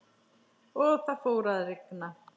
Og það fór að rigna.